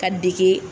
Ka dege